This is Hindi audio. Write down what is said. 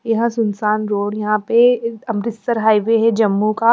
यहां सुनसान रोड यहां पे अमृतसर हाईवे है जम्मू का--